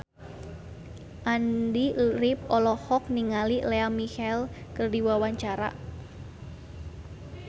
Andy rif olohok ningali Lea Michele keur diwawancara